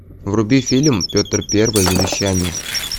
вруби фильм петр первый завещание